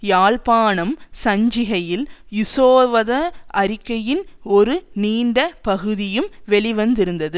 யாழ்ப்பாணம் சஞ்சிகையில் உசோவத அறிக்கையின் ஒரு நீண்ட பகுதியும் வெளிவந்திருந்தது